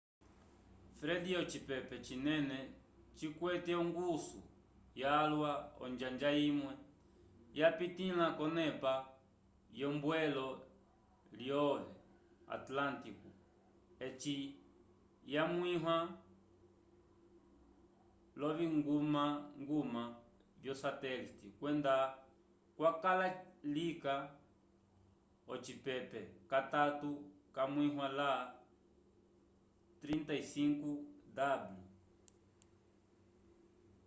fred ocipepe cinene cikwete ongusu yalwa onjanja imwe yapitĩla k’onepa yombwelo lyo atlântico eci yamwĩwa l’oviñgumañguma vyo satelite kwenda kwakala lika ocipepe catatu camwiwa la 35ºw